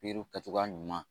Peluw kɛ cogoya ɲuman